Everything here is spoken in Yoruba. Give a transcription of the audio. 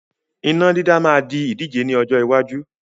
Iná dídá máa di ìdíje ni ọjọ́ iwájú